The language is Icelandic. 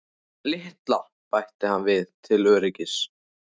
LITLA, bætti hann við til öryggis.